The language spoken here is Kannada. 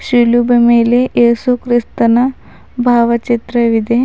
ಶಿಲುಬೆ ಮೇಲೆ ಯೇಸು ಕ್ರಿಸ್ತನ ಭಾವಚಿತ್ರವಿದೆ.